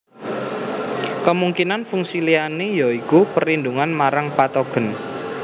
Kemungkinan fungsi liyane ya iku perlindungan marang patogen